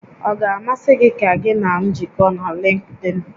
Ọ ga-amasị gị ka gị na m jikọọ na Lịnkdịn?